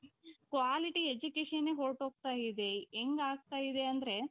quality educationನೆ ಹೊರಟು ಹೋಗ್ತಾಯಿದೆ. ಹೆಂಗ್ ಆಗ್ತಾ ಇದೆ ಅಂದ್ರೆ.